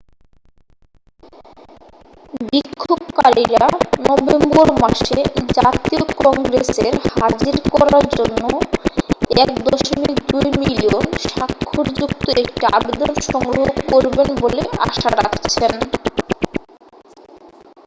বিক্ষোভকারীরা নভেম্বর মাসে জাতীয় কংগ্রেসের হাজির করার জন্য 1.2 মিলিয়ন স্বাক্ষরযুক্ত একটি আবেদন সংগ্রহ করবেন বলে আশা রাখছেন